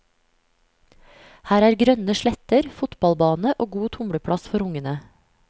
Her er grønne sletter, fotballbane og god tumleplass for ungene.